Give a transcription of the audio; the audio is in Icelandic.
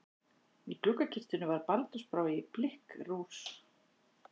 Í gluggakistunni var baldursbrá í blikkkrús.